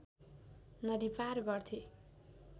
नदी पार गर्थे